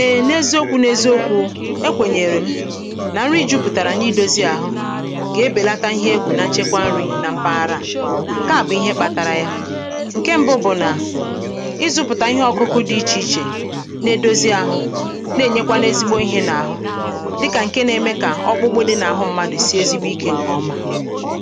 eè n’eziokū n’eziokū, ekwènyèrè m nà nri jupùtàrà nà-idōzī àhụ gà-ebèlata ihe egwù n’njekwa nrī na mpaghara à ǹke à bụ̀ ihe kpātārā yā ǹke m̄bụ̄ bụ̀ nà ịzụ̄pụ̀tà ihe ọ̀kụkụ dị̄ ichè ichè na-edozi āhụ̄ na-ènyekwanu ezigbo ihē n’àhụ dịkà ǹke nā-ēmē kà ọkpụkpụ dị̄ n’àhụ mmadụ̀ sie ezigbo ikē ǹkè ọma